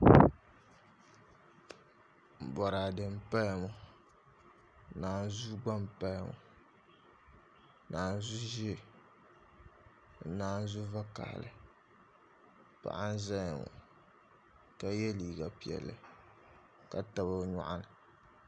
Boraadɛ n paya ŋo naanzuu gba n paya ŋo naanzu ʒiɛ ni nanzu vakaɣali paɣa n ʒɛya ŋo ka yɛ liiga piɛlli ka tabi o nyoɣani